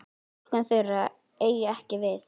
Túlkun þeirra eigi ekki við.